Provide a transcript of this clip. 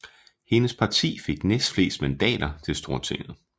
Hendes parti fik næstflest mandater til Stortinget